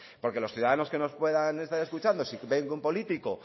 porque los ciudadanos que nos puedan estar escuchando si ve que un político